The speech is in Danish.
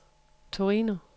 Torino